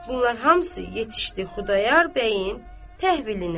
Bunlar hamısı yetişdi Xudayar bəyin təhvilinə.